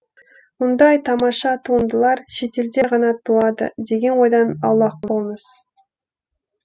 мұндай тамаша туындылар шетелде ғана туады деген ойдан аулақ болыңыз